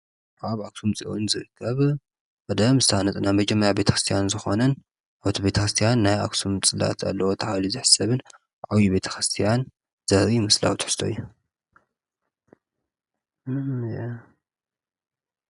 ኣብ ኣክሱም ፅዮን ዝርከብ ቀደም ዝተሃነፀ ናይ መጀመርታ ናይ ቤተ ክርስትያን ዝኮነን ቤተ ክርስትያን ናይ ኣክሱም ፅላት ኣለዎ እናተባህለ ዝሕሰብን ዓብይ ቤተ ክርስትያን ዘርኢ ምስላዊ ትሕዝቶ እዩ ።